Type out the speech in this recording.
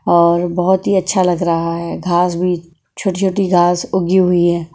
और बहुत ही अच्छा लग रहा है घास भी छोटी-छोटी घास उगी हुई है।